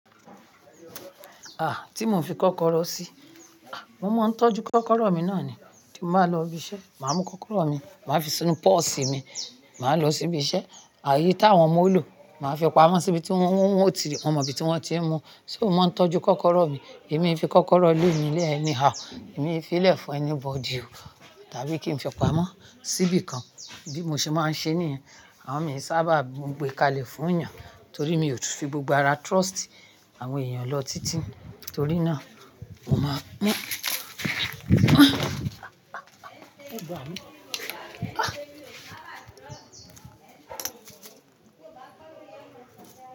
Ah! Tí mo ń fi kọ́kọ́rọ́ sí, ah mo máa ń tọ́jú kọ́kọ́rọ́ mi náà ni. Tí mo bá lọ ibi iṣẹ́, mà á mú kọ́kọ́rọ́ mi, mà á fi sínú purse mi, mà á lọ síbi iṣẹ́. Ààyè tí àwọn mọ ò ló, mà á fi pamọ́ síbi tí wọ́n ti rí, mo mọ ibi tí wọ́n ti ń mú. So mo máa ń tọ́jú kọ́kọ́rọ́ mi. Èmi e fi kọ́kọ́rọ́ lé mi lẹ́ẹ̀ anyhow èmi e fi lè fún anybody o. Tàbí kí n fi pamọ́ síbi kan. Bi mo ṣe maa n ṣe niyẹn. Amọ mii saba gbe kalẹ fun eyan torí mi ò tún fi gbogbo ara trust àwọn èèyàn lọ títí. Torí náà, mo máa ń. Ẹ̀bà mi.